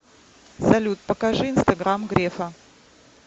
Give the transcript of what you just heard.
салют покажи инстаграм грефа